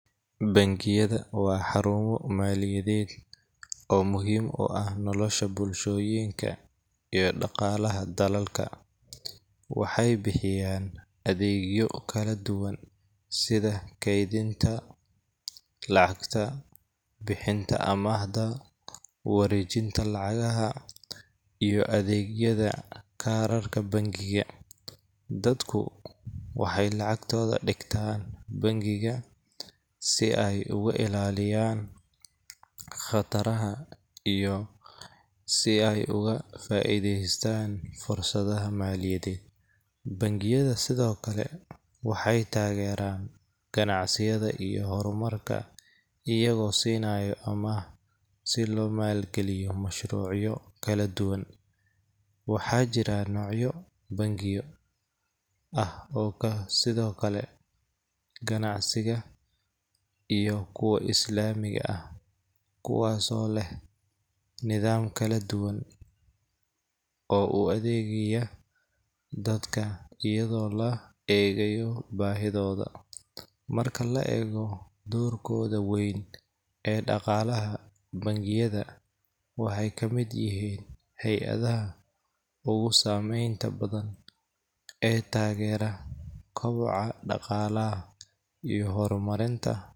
Bangiyada waa xarumo maaliyadeed oo muhiim u ah nolosha bulshooyinka iyo dhaqaalaha dalalka. Waxay bixiyaan adeegyo kala duwan sida kaydinta lacagta, bixinta amaahda, wareejinta lacagaha, iyo adeegyada kaararka bangiga. Dadku waxay lacagtooda dhigtaan bangiga si ay uga ilaaliyaan khataraha iyo si ay uga faa’iidaystaan fursadaha maaliyadeed. Bangiyada sidoo kale waxay taageeraan ganacsiyada iyo horumarka iyagoo siinaya amaah si loo maalgeliyo mashruucyo kala duwan. Waxaa jira noocyo bangiyo ah oo sidokale ganacsiga iyo kuwa Islaamiga ah, kuwaas oo leh nidaam kala duwan oo u adeegaya dadka iyadoo loo eegayo baahidooda. Marka la eego doorkooda weyn ee dhaqaalaha, bangiyada waxay ka mid yihiin hay’adaha ugu saameynta badan ee taageera koboca dhaqaala iyo horumarinta.